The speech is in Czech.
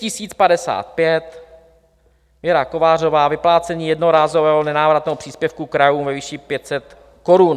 Tisk 1055, Věra Kovářová, vyplácení jednorázového nenávratného příspěvku krajů ve výši 500 korun.